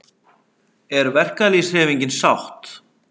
Er verkalýðshreyfingin sátt?